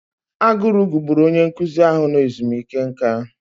Agụrụ gugburu onye nkụzi ahụ nọ ezumike nká.